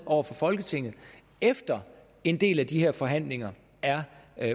over for folketinget efter en del af de her forhandlinger er